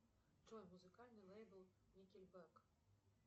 джой музыкальный лейбл никельбэк